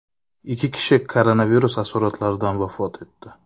Ikki kishi koronavirus asoratlaridan vafot etdi.